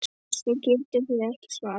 Þessu getið þið ekki svarað!